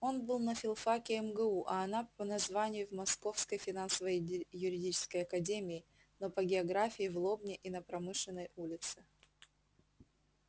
он был на филфаке мгу а она по названию в московской финансово-юридической академии но по географии в лобне и на промышленной улице